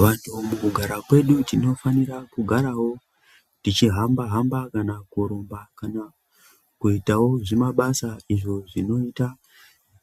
Vantu mukugara kwedu tinofana kugara tichihamba hamba kana kurumba kana kuitawo zvimabasa izvo zvinoita